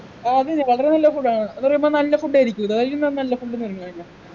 ആ അതെയതെ വളരെ നല്ല food ആണ് അത് പറയുമ്പൊ നല്ല food ആയിരിക്കും ഇത് അയിലും ന നല്ല food